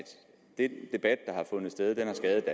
den debat der har fundet sted har skadet